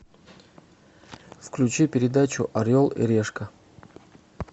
включи передачу орел и решка